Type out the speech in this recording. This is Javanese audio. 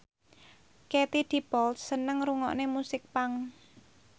Katie Dippold seneng ngrungokne musik punk